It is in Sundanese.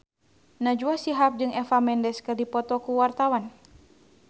Najwa Shihab jeung Eva Mendes keur dipoto ku wartawan